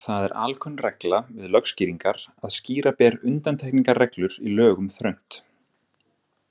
Það er alkunn regla við lögskýringar að skýra ber undantekningarreglur í lögum þröngt.